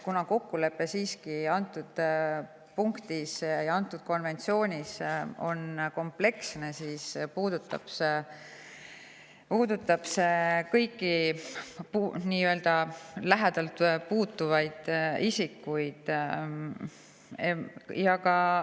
Kuna kokkulepe antud punktis, konventsioonis on kompleksne, siis puudutab see kõiki isikuid.